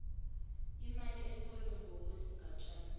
imali etholwe ngokwesigatshana